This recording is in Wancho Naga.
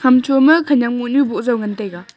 hamcho ma khanak mohnyu boh jaw ngan taiga.